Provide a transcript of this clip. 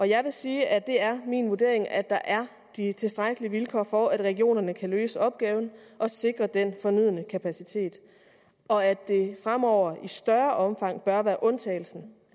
jeg vil sige at det er min vurdering at der er de tilstrækkelige vilkår for at regionerne kan løse opgaven og sikre den fornødne kapacitet og at det fremover i større omfang bør være undtagelsen